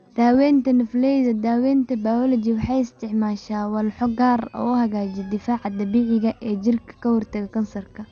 Daaweynta Nafleyda Daawaynta bayooloji waxay isticmaashaa walxo gaar ah oo hagaajiya difaaca dabiiciga ah ee jirka ee ka hortagga kansarka.